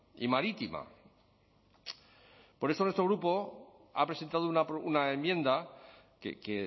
y marítima por eso nuestro grupo ha presentado una enmienda que